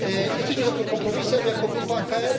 Jesteśmy za tym kompromisem jako grupa ECR.